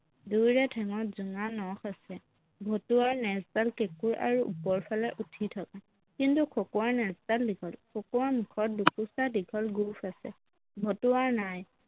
দুয়োৰে ঠেংত জোঙা নখ আছে, ভতুৱাৰ নেজডাল কেঁকোৰা আৰু ওপৰফালে উঠি থকা কিন্তু খকুৱাৰ নেজডাল দীঘল খকুৱাৰ মুখত দুকোছা দীঘল গোঁফ আছে ভতুৱাৰ নাই